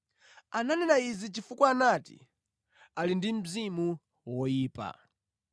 Ananena izi chifukwa anati, “Ali ndi mzimu woyipa.”